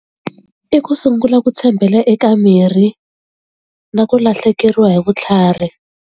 I ku sungula ku tshembela eka miri na ku lahlekeriwa hi vutlhari.